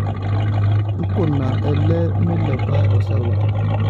nkuna ele milepa osauti